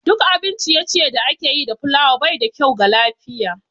Duk abin ciye-ciye da ake yi da fulawa baida kyau ga lafiya